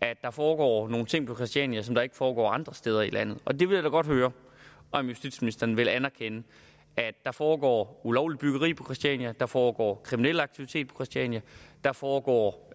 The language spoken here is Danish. at der foregår nogle ting på christiania som ikke foregår andre steder i landet og jeg vil da godt høre om justitsministeren vil anerkende at der foregår ulovligt byggeri på christiania at der foregår kriminel aktivitet på christiania at der foregår